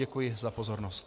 Děkuji za pozornost.